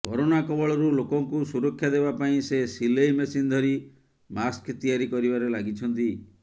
corona କବଳରୁ ଲୋକଙ୍କୁ ସୁରକ୍ଷା ଦେବା ପାଇଁ ସେ ସିଲେଇ ମେସିନ୍ ଧରି ମାସ୍କ ତିଆରି କରିବାରେ ଲାଗିଛନ୍ତି